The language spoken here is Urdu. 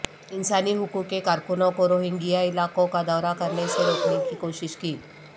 انسانی حقوق کے کارکنوں کو روہنگیا علاقوں کا دورہ کرنے سے روکنے کی کوشش کی